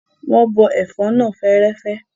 Wọn bọ ẹ̀fọ́ náà fẹ́ẹ́rẹ́fẹ́.